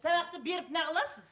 сабақты беріп неғыласыз